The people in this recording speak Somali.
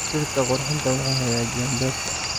Dhirta qurxinta waxay hagaajiyaan beerta.